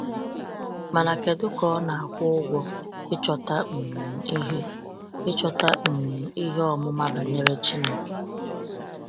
Mana kedu ka ọ na-akwụ ụgwọ ịchọta um “ihe ịchọta um “ihe ọmụma banyere Chineke”!